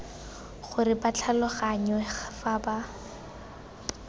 gore ba tlhaloganngwe fa ba